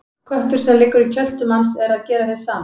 Köttur sem liggur í kjöltu manns er að gera hið sama.